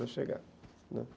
chegar, né.